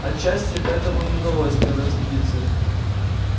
отчасти поэтому и не удалось первая экспедиция